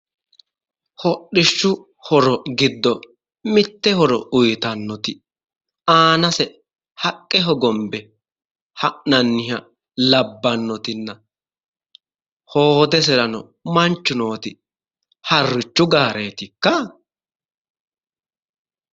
Hodhishshu horo giddo mitte horo uuyitannoti aanase haqqe hogombe ha'nanniha labbannoti, hoodesirano manchu nooti harrichu gaareetikka?